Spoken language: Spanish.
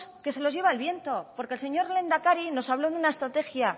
que se los lleva el viento porque el señor lehendakari nos habló de una estrategia